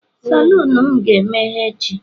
Salon m ga-emeghe echi